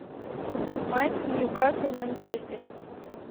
матч ньюкасл манчестер